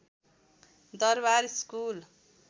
Darbar school